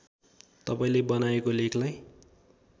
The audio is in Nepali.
तपाईँले बनाएको लेखलाई